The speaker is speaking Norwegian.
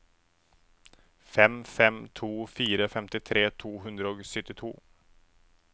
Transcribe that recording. fem fem to fire femtitre to hundre og syttito